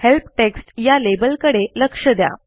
help text या लेबलकडे लक्ष द्या